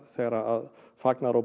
þegar fagnaðaróp